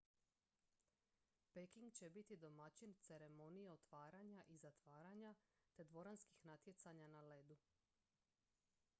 peking će biti domaćin ceremonije otvaranja i zatvaranja te dvoranskih natjecanja na ledu